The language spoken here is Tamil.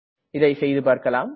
இதை செய்துபார்க்கலாம்